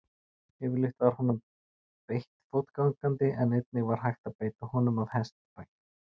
Yfirleitt var honum beitt fótgangandi en einnig var hægt að beita honum af hestbaki.